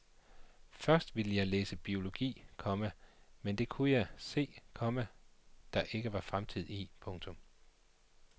Først ville jeg læse biologi, komma men det kunne jeg se, komma der ingen fremtid var i. punktum